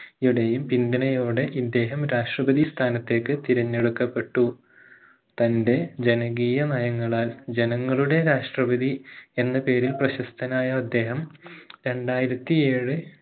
യുടെയും പിന്തുണയോടെ ഇദ്ദേഹം രാഷ്ട്രപതി സ്ഥാനത്തേക് തിരഞ്ഞടുക്കപെട്ടു തന്റെ ജനകീയ നങ്ങളാൽ ജനങ്ങളുടെ രാഷ്ട്രപതി എന്ന പേരിൽ പ്രശസ്തനായ അദ്ദേഹം രണ്ടായിരത്തി ഏഴ്